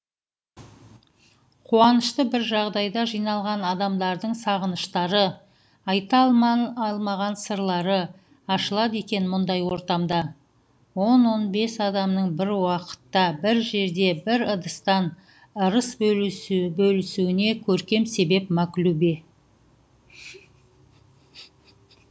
қуанышты бір жағдайда жиналған адамдардың сағыныштары айта алман сырлары ашылады екен мұндай ортамда он он бес адамның бір уақытта бір жерде бір ыдыстан ырыс бөлісуіне көркем себеп маклюбе